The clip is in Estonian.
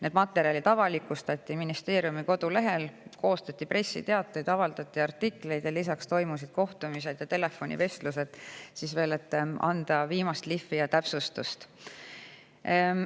Need materjalid avalikustati ministeeriumi kodulehel, koostati pressiteateid, avaldati artikleid ning lisaks toimusid kohtumised ja telefonivestlused, et anda veel viimast lihvi ja teha täpsustusi.